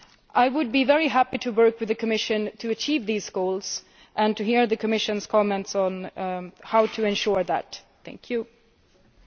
I would be very happy to work with the Commission to achieve these goals and to hear the Commission's comments on how to ensure they are achieved.